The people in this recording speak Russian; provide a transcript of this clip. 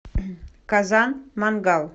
казан мангал